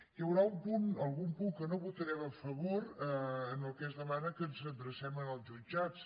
hi haurà algun punt que no votarem a favor en el qual es demana que ens adrecem als jutjats